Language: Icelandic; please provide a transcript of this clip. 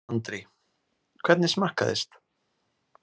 Andri: Hvernig smakkaðist?